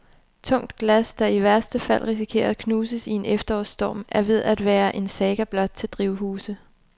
Tungt glas, der i værste fald risikerer at knuses i en efterårsstorm, er ved at være en saga blot til drivhuse.